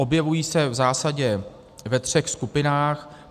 Objevují se v zásadě ve třech skupinách.